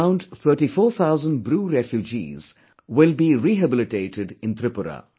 Around 34000 Bru refugees will be rehabilitated in Tripura